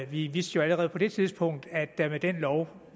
vi vidste jo allerede på det tidspunkt at der med den lov